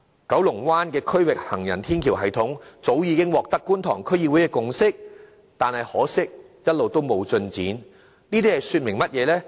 九龍灣的區域行人天橋系統早已取得觀塘區議會的共識，但可惜一直沒有進展，這說明甚麼呢？